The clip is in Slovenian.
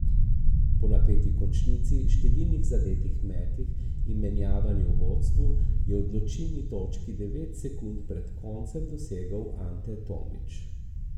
Po napeti končnici, številnih zadetih metih in menjavanju v vodstvu, je odločilni točki devet sekund pred koncem dosegel Ante Tomić.